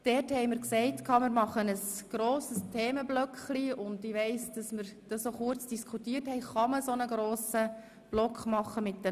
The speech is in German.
Wir wollten die verbleibenden Anträge gemeinsam in einem Themenblock diskutieren, fragten uns aber dann, ob es überhaupt möglich sei, sie in einem so grossen Block zusammenzufassen.